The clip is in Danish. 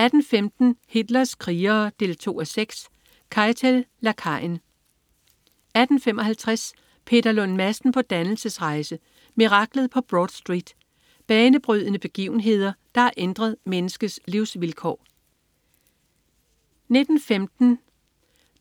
18.15 Hitlers krigere 2:6. Keitel. Lakajen 18.55 Peter Lund Madsen på dannelsesrejse. Miraklet på Broad Street. Banebrydende begivenheder, der har ændret menneskets livsvilkår 19.15